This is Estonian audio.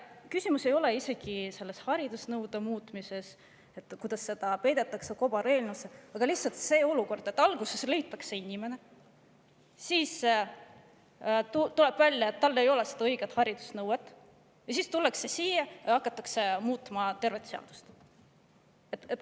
Küsimus ei ole isegi haridusnõude muutmises, selles, kuidas see peideti kobareelnõusse, vaid lihtsalt see olukord, et alguses leitakse inimene, siis tuleb välja, et tal ei ole õiget, nõuetele vastavat haridust, ning siis tullakse siia ja hakatakse muutma tervet seadust.